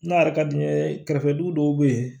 N'a yɛrɛ ka di n ye kɛrɛfɛ dugu dɔw bɛ yen